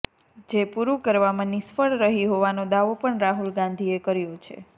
જે પૂરું કરવામાં નિષ્ફળ રહી હોવાનો દાવો પણ રાહુલ ગાંધીએ કર્યો છે